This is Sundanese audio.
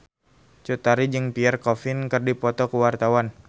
Cut Tari jeung Pierre Coffin keur dipoto ku wartawan